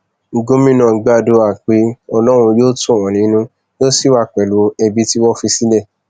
gomina gbàdúrà pé ọlọrun yóò tù wọn nínú yóò sì wà pẹlú ẹbí tí wọn fi sílẹ